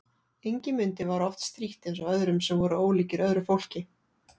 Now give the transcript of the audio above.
Ingimundi var oft strítt eins og öðrum sem voru ólíkir öðru fólki.